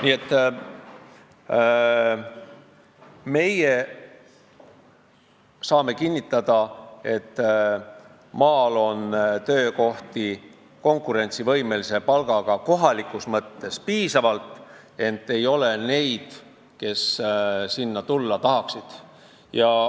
Nii et meie saame kinnitada, et maal on kohalikus mõttes konkurentsivõimelise palgaga töökohti piisavalt, ent ei ole neid, kes sinna tulla tahaksid.